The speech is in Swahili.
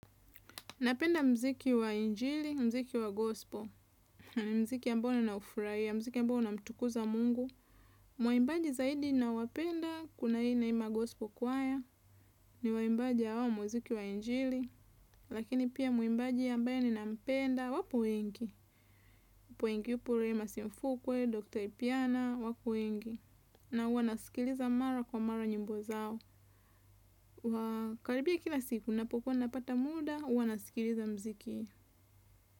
Napenda mziki wa injili, mziki wa gospo. Ni mziki ambao naufurahia, mziki ambao unamtukuza Mungu. Waimbaji zaidi ninaowapenda, kuna hii Neema gospel choir. Ni waimbaji wa mziki wa injili. Lakini pia muimbaji ambaye ninampenda, wapo wengi. Simfukwe, Dr. Ipyana wapo wengi. Na huwa nasikiliza mara kwa mara nyimbo zao. Karibia kila siku, napo kuwa napata muda, huwa nasikiliza mziki.